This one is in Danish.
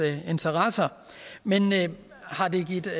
interesser men men har det givet